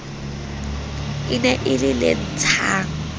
ne e le le ntshang